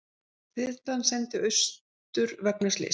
Þyrlan send austur vegna slyss